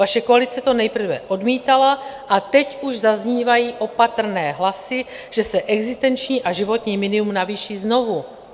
Vaše koalice to nejprve odmítala a teď už zaznívají opatrné hlasy, že se existenční a životní minimum navýší znovu.